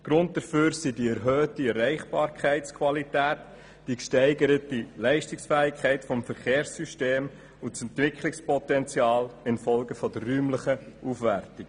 Der Grund dafür sind die erhöhte Erreichbarkeitsqualität, die gesteigerte Leistungsfähigkeit des Verkehrssystems und das Entwicklungspotenzial infolge der räumlichen Aufwertung.